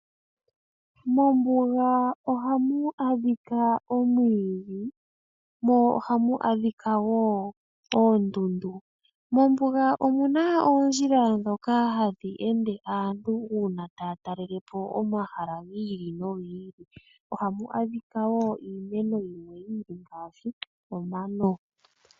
Mombuga ohamu adhika omwiidhi, mo ohamu adhika wo oondundu. Mombuga omu na oondjila ndhoka hadhi ende aantu uuna taya talele po omahala gi ili nogi ili. Ohamu adhika wo iimeno yimwe yi ili, ngaashi omano.